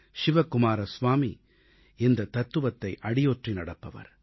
சிவகுமார ஸ்வாமி இந்தத் தத்துவத்தை அடியொற்றி நடப்பவர்